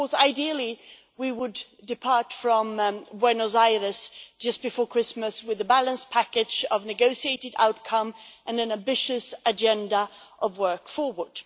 Ideally we would depart from Buenos Aires just before Christmas with a balanced package of negotiated outcomes and an ambitious agenda of work going forward.